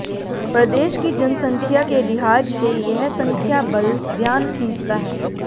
प्रदेश की जनसंख्या के लिहाज से यह संख्याबल ध्यान खींचता है